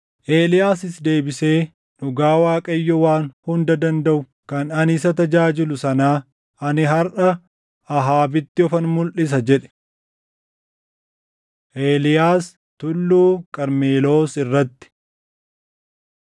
Eeliyaasis deebisee, “Dhugaa Waaqayyoo Waan Hunda Dandaʼu kan ani isa tajaajilu sanaa, ani harʼa Ahaabitti ofan mulʼisa” jedhe. Eeliyaas Tulluu Qarmeloos Irratti